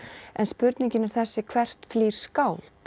en spurningin er þessi hvert flýr skáld